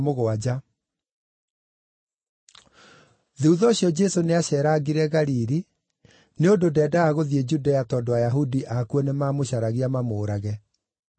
Thuutha ũcio, Jesũ nĩaceerangire Galili, nĩ ũndũ ndendaga gũthiĩ Judea tondũ Ayahudi akuo nĩmamũcaragia mamũũrage.